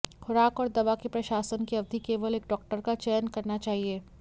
खुराक और दवा के प्रशासन की अवधि केवल एक डॉक्टर का चयन करना चाहिए